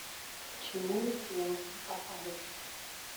к чему снятся опарыши